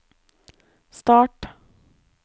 start